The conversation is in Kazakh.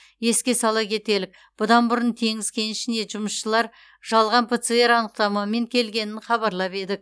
еске сала кетелік бұдан бұрын теңіз кенішіне жұмысшылар жалған пцр анықтамамен келгенін хабарлап едік